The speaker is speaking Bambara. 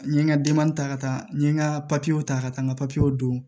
N ye n ka denbaya ta ka taa n ye n ka ta ka taa n ka don